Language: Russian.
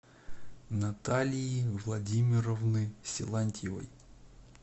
наталии владимировны силантьевой